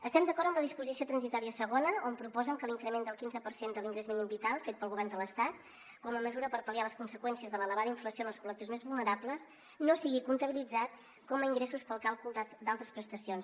estem d’acord amb la disposició transitòria segona on proposen que l’increment del quinze per cent de l’ingrés mínim vital fet pel govern de l’estat com a mesura per pal·liar les conseqüències de l’elevada inflació en els col·lectius més vulnerables no sigui comptabilitzat com a ingressos per al càlcul d’altres prestacions